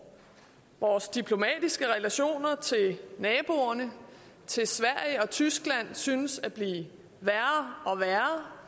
vores diplomatiske relationer til naboerne til sverige og tyskland synes at blive værre og værre